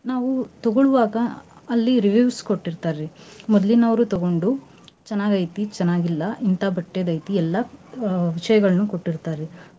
ನಾವು ತಗೋಳುವಾಗ ಅಲ್ಲಿ reviews ಕೊಟ್ಟಿರ್ತಾರೀ ಮೊದ್ಲಿನೌರು ತಗೊಂಡು ಚನಾಗ್ ಐತೀ ಚನಾಗ್ ಇಲ್ಲಾ ಇಂತಾ ಬಟ್ಟೆದ್ ಐತಿ ಎಲ್ಲಾ ಅಹ್ ವಿಷಯಗಳನ್ನೂ ಕೊಟ್ಟಿರ್ತಾರಿ.